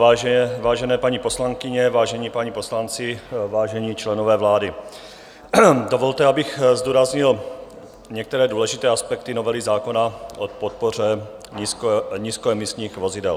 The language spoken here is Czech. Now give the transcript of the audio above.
Vážené paní poslankyně, vážení páni poslanci, vážení členové vlády, dovolte, abych zdůraznil některé důležité aspekty novely zákona o podpoře nízkoemisních vozidel.